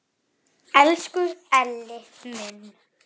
Elsku Elli minn!